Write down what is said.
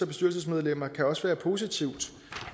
bestyrelsesmedlemmer kan også være positivt